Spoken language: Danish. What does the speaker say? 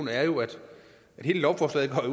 hele lovforslaget